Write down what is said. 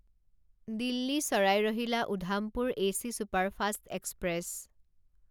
দিল্লী ছাৰাই ৰহিলা Udhampur AC superfast express